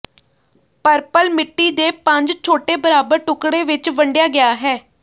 purple ਮਿੱਟੀ ਦੇ ਪੰਜ ਛੋਟੇ ਬਰਾਬਰ ਟੁਕੜੇ ਵਿੱਚ ਵੰਡਿਆ ਗਿਆ ਹੈ